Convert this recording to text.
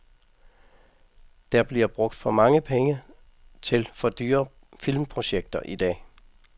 Der bliver brugt for mange penge til for dyre filmprojekter i dag.